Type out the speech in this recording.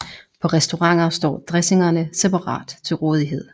På restauranter står dressingerne separat til rådighed